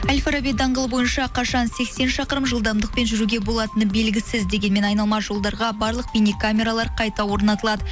әл фараби даңғылы бойынша қашан сексен шақырым жылдамдықпен жүруге болатыны белгісіз дегенмен айналма жолдарға барлық бейне камералар қайта орнатылады